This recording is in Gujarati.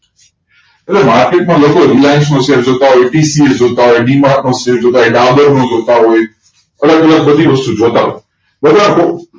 Market મા લોકો reliance નો શેર જોતા હોય T series જોતા હોય D Mart નો શેર જોતા હોય નું જોતા હોય અલગ અલગ બધી વસ્તુ જોતા હોય